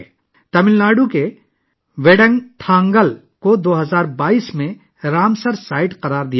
تمل ناڈو کے ویدانتھنگل کو 2022 میں رامسر سائٹ قرار دیا گیا تھا